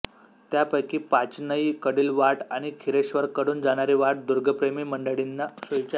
त्यापैकी पाचनई कडील वाट आणि खिरेश्वरकडून जाणारी वाट दुर्गप्रेमी मंडळींना सोयीची आहे